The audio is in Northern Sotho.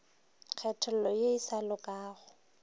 kgethollo ye e sa lokago